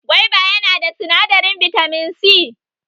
Gwaiba ya na da sinadarin bitamin C